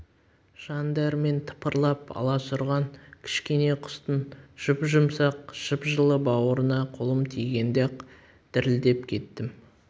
жан дәрмен тыпырлап аласұрған кішкене құстың жұп-жұмсақ жып-жылы бауырына қолым тигенде-ақ дірілдеп кеттім